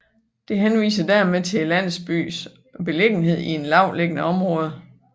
Det henviser dermed til landsbyens beliggenhed i et lavtliggende område